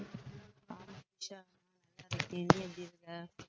சக்தி நீ எப்பிடி இருக்க